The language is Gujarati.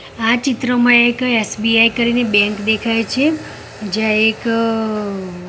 આ ચિત્રમાં એક એસ_બી_આઈ કરીને બેંક દેખાય છે જ્યાં એક અ--